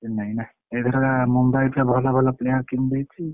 ଚେନ୍ନାଇ ନା noise ଏଇଥରକ ମୁମ୍ବାଇ ସବୁ ଭଲ ଭଲ players କିଣି ଦେଇଛି।